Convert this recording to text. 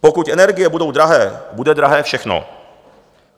Pokud energie budou drahé, bude drahé všechno.